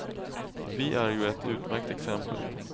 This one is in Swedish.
Vi är ju ett utmärkt exempel.